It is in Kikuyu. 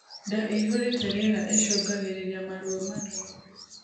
Ndaa ĩihuruite rĩera icungagirirĩa maruo marũrũ